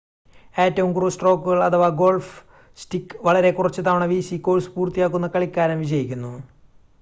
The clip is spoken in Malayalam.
ഏറ്റവും കുറവ് സ്ട്രോക്കുകൾ അഥവാ ഗോൾഫ് സ്റ്റിക്ക് വളരെ കുറച്ച് തവണ വീശി കോഴ്സ് പൂർത്തിയാക്കുന്ന കളിക്കാരൻ വിജയിക്കുന്നു